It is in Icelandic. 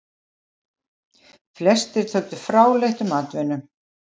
Flestir töldu fráleitt um atvinnu.